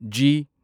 G